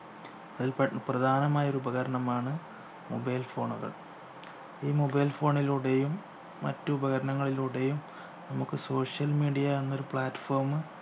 അതിൽ പെ പ്രധാനമായൊരു ഉപകരണമാണ് mobile phone കൾ ഈ mobile phone ലൂടെയും മറ്റുപകരണങ്ങളിലൂടെയും നമ്മുക്ക് social media എന്നൊരു platform